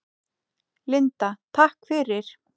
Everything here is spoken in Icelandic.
Linda: Takk fyrir.